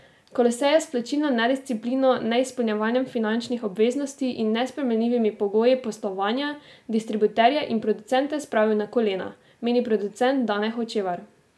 Kolosej je s plačilno nedisciplino, neizpolnjevanjem finančnih obveznosti in nesprejemljivimi pogoji poslovanja distributerje in producente spravil na kolena, meni producent Dane Hočevar.